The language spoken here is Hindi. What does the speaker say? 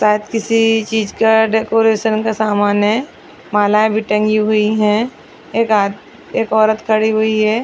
शायद किसी चीज का डेकोरेशन का सामान है मालाये भी टंगी हुई है एक आद एक औरत खड़ी हुई है।